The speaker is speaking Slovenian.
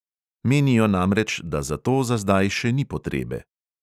Menijo namreč, da za to za zdaj še ni potrebe ...